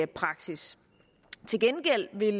praksis til gengæld vil